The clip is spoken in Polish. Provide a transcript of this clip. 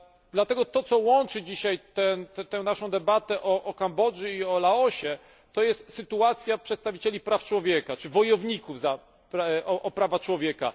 Dlatego tym, co łączy dzisiaj naszą debatę o Kambodży i Laosie jest sytuacja przedstawicieli praw człowieka bojowników o prawa człowieka.